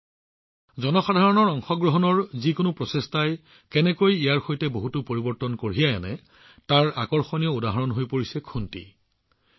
যিকোনো জনসাধাৰণৰ অংশগ্ৰহণৰ প্ৰচেষ্টাই কেনেকৈ ইয়াৰ সৈতে বহুতো পৰিৱৰ্তন কঢ়িয়াই আনিছে তাৰ এক আকৰ্ষণীয় উদাহৰণ হৈ পৰিছে খুণ্টি